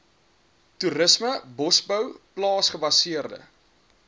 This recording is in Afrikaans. toerisme bosbou plaasgebaseerde